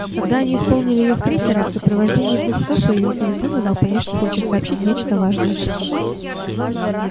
когда они исполнили её в третий раз в сопровождении двух псов появился визгун и дал понять что хочет сообщить нечто важное